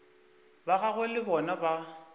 ba gagwe le bona ba